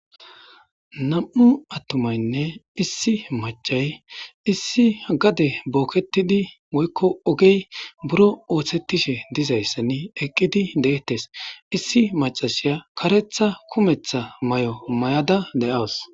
nam7u attomaynne issi machay issi gade booketidi woykko ogey buro ooththettishe dizayssenne eqqidi deettes issi macashaya karetha kumetha may7o may7ada le7aws